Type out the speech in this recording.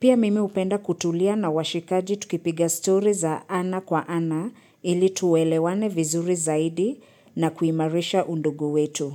Pia mimi hupenda kutulia na washikaji tukipiga story za ana kwa ana ili tuwelewane vizuri zaidi na kuimarisha undugu wetu.